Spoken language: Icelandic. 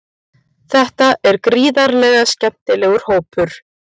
Þetta er gríðarlega skemmtilegur hópur.